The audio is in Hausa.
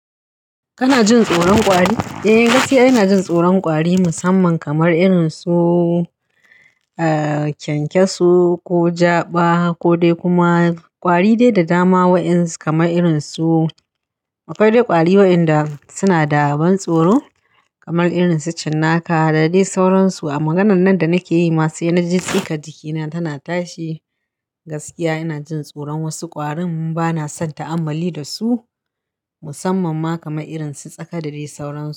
Kana jin tsoron kwari? Eh gaskiya ina jin tsoron kwari musamman kamar irinsu, ah, kyankyasu ko jaɓa kodai kuma kwari dai da dama waɗansu kamar irinsu, akwai dai kwari waɗanda sunada ban tsoro kamar irinsu cinnaka da dai sauransu. A maganan nan da nakeyi ma sai naji tsigan jikina tana tashi. Gaskiya ina jin tsoron wasu ƙwarin bana son ta'ammali dasu musamman ma kamar irinsu tsaka da dai sauransu.